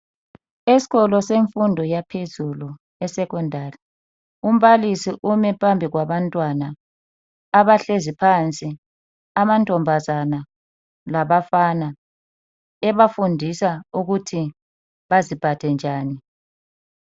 Esikolo semfundo yaphezulu eSekhondari .Umbalisi ume phambi kwabantwana abahlezi phansi amantombazane labafana ebafundisa ukuthi baziphathe njani.